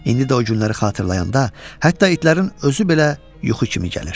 İndi də o günləri xatırlayanda hətta itlərin özü belə yuxu kimi gəlir.